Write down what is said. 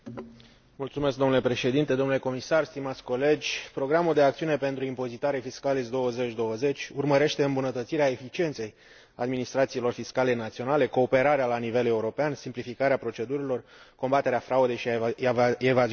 Domnule președinte, domnule comisar, stimați colegi, programul de acțiune pentru impozitare Fiscalis 2020 urmărește îmbunătățirea eficienței administrațiilor fiscale naționale, cooperarea la nivel european, simplificarea procedurilor, combaterea fraudei și a evaziunii fiscale.